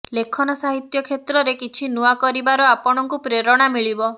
ଲେଖନ ସାହିତ୍ୟ କ୍ଷେତ୍ରରେ କିଛି ନୂଆ କରିବାର ଆପଣଙ୍କୁ ପ୍ରେରଣା ମିଳିବ